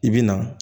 I bi na